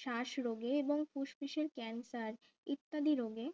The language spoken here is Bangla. শ্বাস রোগে এবং ফুসফুসের ক্যান্সার ইত্যাদি রোগে